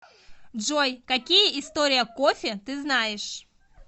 джой какие история кофе ты знаешь